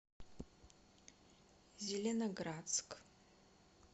зеленоградск